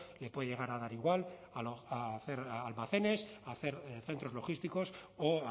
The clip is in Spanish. le puede llegar a dar igual hacer almacenes hacer centros logísticos o